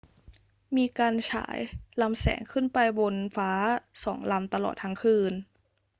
มีการฉายลำแสงขึ้นไปบนฟ้าสองลำตลอดทั้งคืน